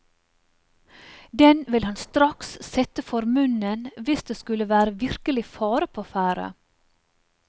Den vil han straks sette for munnen hvis det skulle være virkelig fare på ferde.